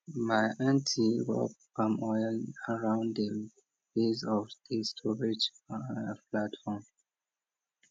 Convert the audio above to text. my aunty rub palm oil around di base of di storage platform